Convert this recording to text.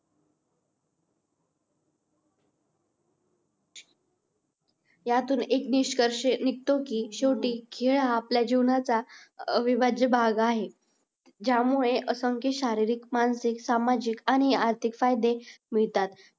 यातून एक निष्कर्ष निघतो की शेवटी खेळ हा आपल्या जीवनाचा अविभाज्य भाग आहे. ज्यामुळे असंख्य शरीरिक, मानसिक, सामाजिक आणि आर्थिक फायदे मिळतात.